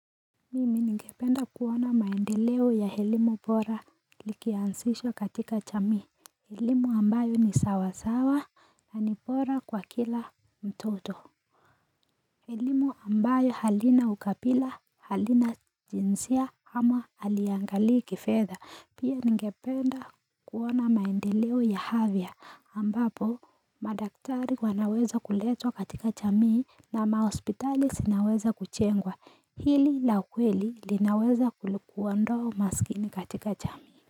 Mimi ningependa kuona maendeleo ya elimu bora ikianzishwa katika jamii elimu ambayo ni sawasawa na ni bora kwa kila mtoto elimu ambayo halina ukabila, halina jinsia ama halinangalii kifedha Pia ningependa kuona maendeleo ya afya ambapo madaktari wanaweza kuletwa katika jamii na mahospitali sinaweza kujengwa hili la kweli linaweza kulikuondoa umasikini katika jamii.